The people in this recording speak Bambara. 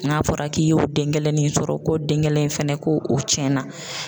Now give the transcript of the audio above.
N'a fɔra k'i y'o den kelen sɔrɔ, ko den kelen fɛnɛ ko o tiɲɛna.